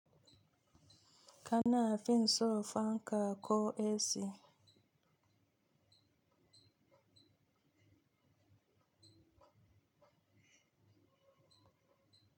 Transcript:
Ka na fin so fanka ko AC.